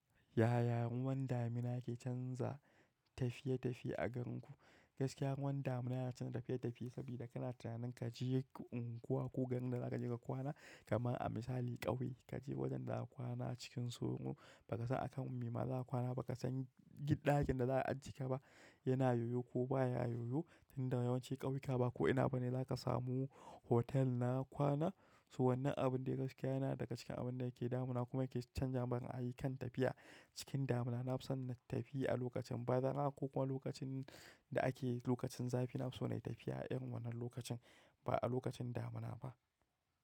Yaya ruwan damina ke canza tafiye-tafiye a ganku? Gaskiya ruwan damina yana canza tafiye-tafiye saboda kana tunanin ka je unguwa ko garin da za ka je ka kwana, kama a misali ƙauye ka je wajen da za a kwana cikin tsoro ba ka san akan me ma za a kwana, ba ka san gidajen da za'a ajiye ka ba yana yiwu ko baya yi wu tinda yawanci kauyuka ba ko da yaushe zaka samu holet na kwana toh wannan abun yana daga cikin abinda ke damuna kuma yake canza min ra'ayi kan tafiya cikin damuna na fi son na tafi a lokacin bazara ko kuma lokacin da ake lokacin zafi. Na fi so na yi tafiya a irin wannan lokacin ba a lokacin damina ba.